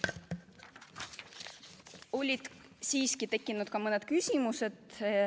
Olid siiski tekkinud ka mõned küsimused.